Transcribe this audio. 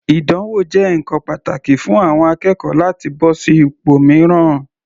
Ìdánwò jẹ́ ǹkan pàtàkì fún àwọn akẹ́kọ̀ọ́ láti bọ́ sí ipò mìíràn.